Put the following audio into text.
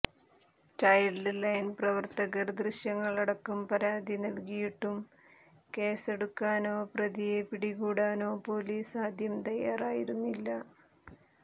child line പ്രവർത്തകർ ദൃശ്യങ്ങളടക്കം പരാതി നൽകിയിട്ടും കേസെടുക്കാനോ പ്രതിയെ പിടികൂടാനോ പൊലീസ് ആദ്യം തയ്യാറായിരുന്നില്ല